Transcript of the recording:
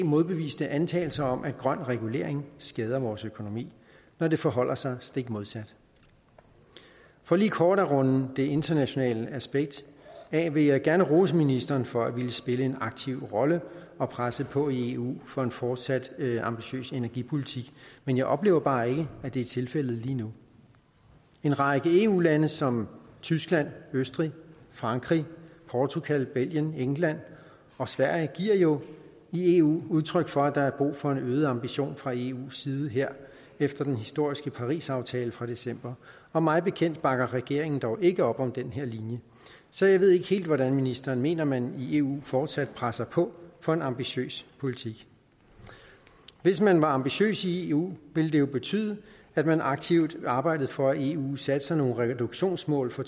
modbeviste antagelser om at grøn regulering skader vores økonomi når det forholder sig stik modsat for lige kort at runde det internationale aspekt af vil jeg gerne rose ministeren for at ville spille en aktiv rolle og presse på i eu for en fortsat ambitiøs energipolitik men jeg oplever bare ikke at det er tilfældet lige nu en række eu lande som tyskland østrig frankrig portugal belgien england og sverige giver i eu udtryk for at der er brug for en øget ambition fra eus side her efter den historiske parisaftale fra december og mig bekendt bakker regeringen dog ikke op om den linje så jeg ved ikke helt hvordan ministeren mener at man i eu fortsat presser på for en ambitiøs politik hvis man var ambitiøse i eu ville det betyde at man aktivt arbejdede for at eu satte nogle reduktionsmål for